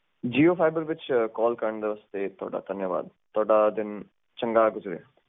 ਕਿ ਕੀ ਦਿੱਕਤ ਆ ਰਹੀ ਆ ਤੁਹਾਡੇ ਰਾਊਟਰ ਦੇ ਵਿੱਚ ਕੰਨੈਕਸ਼ਨ ਵਿੱਚ ਤੇ ਵਾਇਰ ਵਿੱਚ ਵੀ